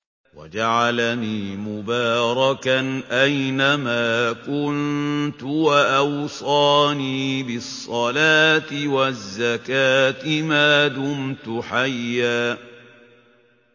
وَجَعَلَنِي مُبَارَكًا أَيْنَ مَا كُنتُ وَأَوْصَانِي بِالصَّلَاةِ وَالزَّكَاةِ مَا دُمْتُ حَيًّا